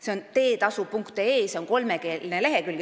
See on kolmekeelne veebileht teetasu.ee.